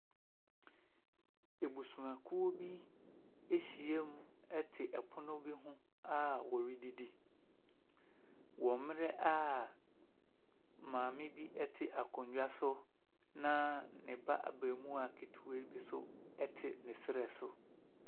Abusuakuw bi ahyia mu te pon bi ho a wɔredidi, wɔ mmerɛ a maame bi te akonnwa so, na ne ba abarimaa ketewa bi nso te ne srɛ so.